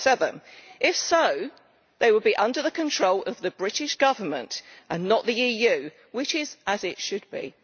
007. If so, they will be under the control of the British Government and not the EU, which is as it should be.